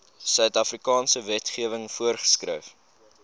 suidafrikaanse wetgewing voorgeskryf